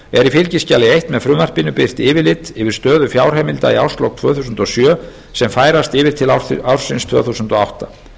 er í fylgiskjali eins með frumvarpinu birt yfirlit yfir stöðu fjárheimilda í árslok tvö þúsund og sjö sem færast yfir til ársins tvö þúsund og átta